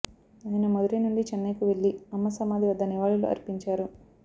ఆయన మదురై నుండి చెన్నైకు వెళ్లి అమ్మ సమాధి వద్ద నివాళులు అర్పించారు